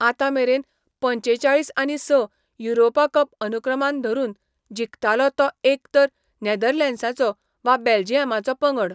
आतांमेरेन, पंचेचाळीस आनी स युरोपा कप अनुक्रमान धरून, जिखतालो तो एक तर नेदर्लंड्साचो वा बेल्जियमाचो पंगड.